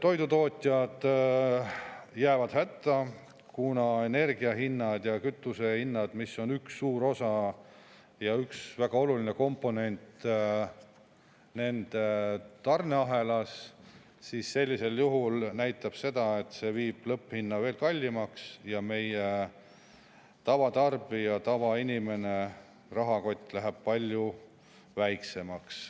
Toidutootjad jäävad hätta, kuna energiahinnad ja kütusehinnad, mis on üks suur osa ja väga oluline komponent nende tarneahelas, sellisel juhul näitavad seda, et see muudab lõpphinna veel kallimaks ja meie tavatarbija, tavainimese rahakott läheb palju väiksemaks.